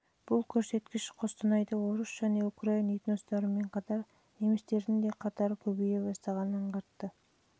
бұл көрсеткіш қостанайда орыс және украин этностарымен қатар немістердің де қатарының көбейе бастағанын аңғартады